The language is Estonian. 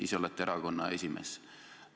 Ise olete erakonna esimees.